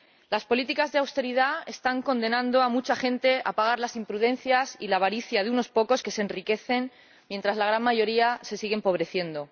Las políticas de austeridad están condenando a mucha gente a pagar las imprudencias y la avaricia de unos pocos, que se enriquecen mientras la gran mayoría se sigue empobreciendo.